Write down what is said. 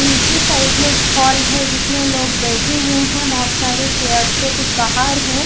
नीचे साइड में एक हॉल है जिसमें लोग बैठे हुए हैं बोहोत सारे चेयर्स पे कुछ बाहर हैं।